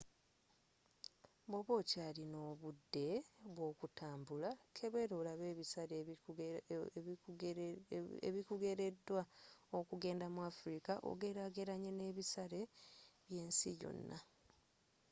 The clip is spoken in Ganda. bwoba okyalina obudde bw'okutambula kebeera olabe ebisale ebikugereddwa okugenda mu afirika ogerageranye n'ebisale by'ensi yonna